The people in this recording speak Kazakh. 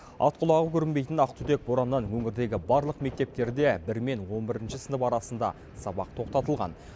ат құлағы көрінбейтін ақ түтек бораннан өңірдегі барлық мектептерде бір мен он бірінші сынып арасында сабақ тоқтатылған